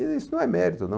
Isso não é mérito, não.